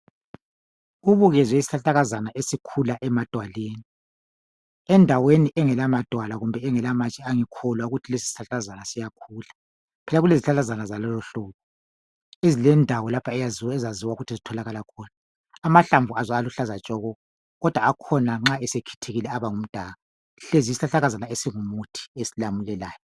Kubukenze isihlahlakazane esikhula emadwaleni endaweni engela madwala kumbe amatshe angikholwa ukuthi isihlahla lesi singakhula kuyabe kulezihlahlazane zalelo hlobo ezilendawo lapho ezaziwa ukuthi zimilela khona amahlamvu akhona aluhlaza tshoko kodwa nxa sekhithikile amahlamvu akhona aba ngumdaka yisihlahlakazana esingumuthi esilamulelayo.